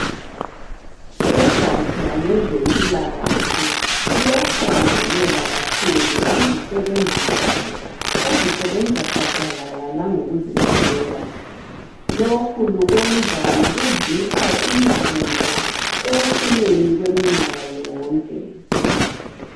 Ugatsha lwezempilakahle luyathakazelela kakhulu izisebenzi zalo ,ezisebenza gadalala langokuzinikela .Lokhu lukwenza ngokuzipha imivuzo ekucineni kweminyaka yonke.